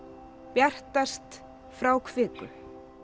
bjartast frá kviku